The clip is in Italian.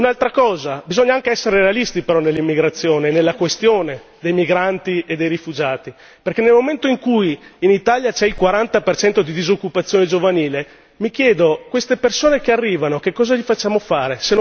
Un'altra cosa bisogna anche essere realisti però nell'immigrazione e nella questione dei migranti e dei rifugiati, perché nel momento in cui in Italia c'è il 40 di disoccupazione giovanile mi chiedo queste persone che arrivano che cosa gli facciamo fare?